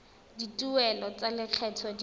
dituelo tsa lekgetho tse di